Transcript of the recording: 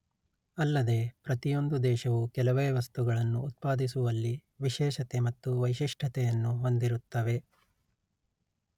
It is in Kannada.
ಅಲ್ಲದೆ ಪ್ರತಿಯೊಂದು ದೇಶವು ಕೆಲವೇ ವಸ್ತುಗಳನ್ನು ಉತ್ಪಾದಿಸುವಲ್ಲಿ ವಿಶೇಷತೆ ಮತ್ತು ವೈಶಿಷ್ಟ್ಯತೆಯನ್ನು ಹೊಂದಿರುತ್ತವೆ